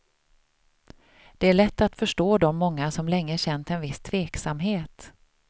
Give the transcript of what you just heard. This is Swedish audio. Det är lätt att förstå de många som länge känt en viss tveksamhet.